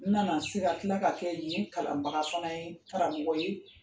U nana se ka tila ka kɛ yen kalanbaga fana ye karamɔgɔ ye